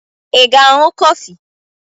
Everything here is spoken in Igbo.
I ga ịṅụ kofi?